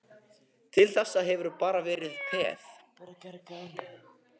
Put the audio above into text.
Til þessa hefurðu bara verið peð.